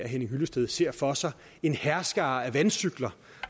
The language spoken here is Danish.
henning hyllested ser for sig en hærskare af vandcykler